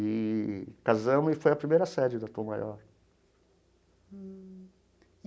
Eee casamos e foi a primeira sede da Tom Maior.